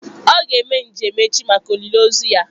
Ọ ga-eme njem echi maka olili ozu ya.